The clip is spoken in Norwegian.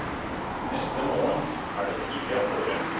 Neste morgen er det tidlig av gårde.